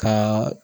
Ka